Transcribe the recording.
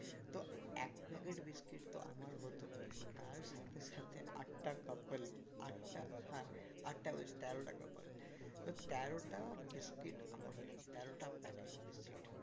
তো এক packet biscuit তো আমার হতো তার সাথে সাথে আটটা couple আটটা হ্যাঁ আটটা বলছি তেরোটা couple তো তেরোটা biscuit আমার হয়ে যেত তেরোটা packet biscuit